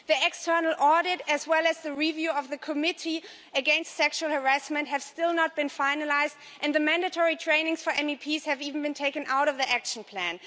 The external audit as well as the review of the Committee Against Sexual Harassment have still not been finalised, and the mandatory trainings for MEPs have even been taken out of the Action Plan.